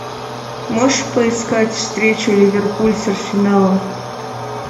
можешь поискать встречу ливерпуль с арсеналом